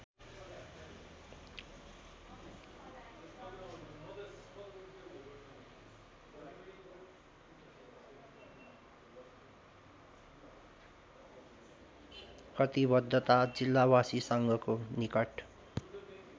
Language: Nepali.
कटिबद्धता जिल्लावासीसँगको निकट